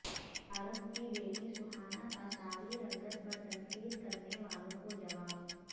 شاہ رخ کی بیٹی سہانا کا سانولی رنگت پر تنقید کرنے والوں کو جواب